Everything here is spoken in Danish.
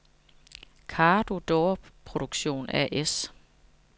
Cardo Door Production A/S